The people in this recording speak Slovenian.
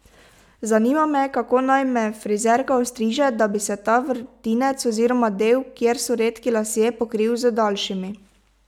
Zanima me, kako naj me frizerka ostriže, da bi se ta vrtinec, oziroma del, kjer so redki lasje, pokril z daljšimi.